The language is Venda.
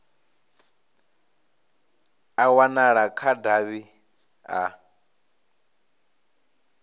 a wanala kha davhi a